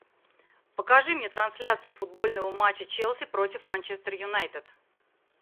покажи мне трансляцию футбольного матча челси против манчестер юнайтед